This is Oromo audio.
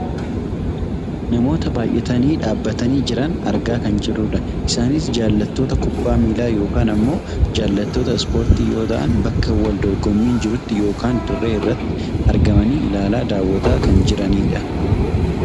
Namoota baayyatanii dhaabbatanii jiran argaa kan jirrudha. Isaanis jaallattoota kubbaa miilaa yookaan ammoo jaallattoota ispoortii yoo ta'a bakka wal dorgommiin jirutti yookaan dirree irratti argamanii ilaalaa , daawwataa kan jiranidha.